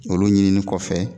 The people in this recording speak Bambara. Olu ɲinini kɔfɛ